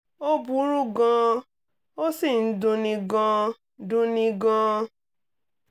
ó burú gan - an ó sì ń dunni gan - dunni gan - an